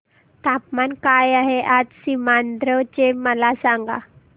तापमान काय आहे आज सीमांध्र चे मला सांगा